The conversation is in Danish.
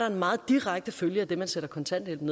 en meget direkte følge af det at man sætter kontanthjælpen